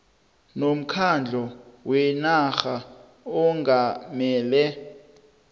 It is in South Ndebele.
nomkhandlu wenarha ongamele